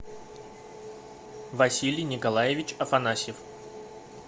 василий николаевич афанасьев